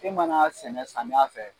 E mana sɛnɛ samiya fɛ